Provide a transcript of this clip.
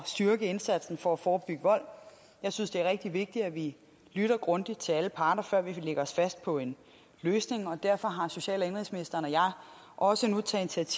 styrke indsatsen for at forebygge vold jeg synes det er rigtig vigtigt at vi lytter grundigt til alle parter før vi lægger os fast på en løsning og derfor har social og indenrigsministeren og jeg også nu taget